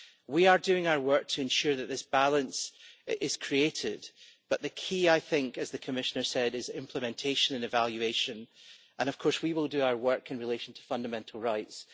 We are doing our work to ensure that this balance is created, but the key, as the Commissioner said, is implementation and evaluation, and of course we will do our work in relation to fundamental rights.